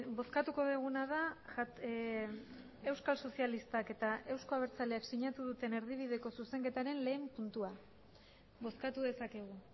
bozkatuko duguna da euskal sozialistak eta euzko abertzaleak sinatu duten erdibideko zuzenketaren lehen puntua bozkatu dezakegu